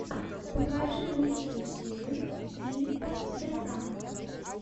покажи лучшую серию филипа де франко